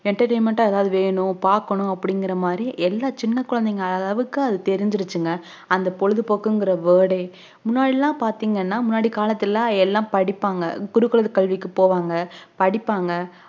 entertainment ஆ எதும் வேணும் எதும் பாக்கணும் அப்புடிங்குரமாதிரி என்ன சின்ன கொழந்தைஅளவுவரைக்கும் தெரிஞ்சுருச்சுங்க அந்த பொழுதுபோக்குங்குற word ஹே முன்னாடிலாம் பாத்தீங்கான முன்னாடி காலத்துளலாம் எல்லா படிப்பாங்க குருகுல கல்விக்கு போவாங்க படிப்பாங்க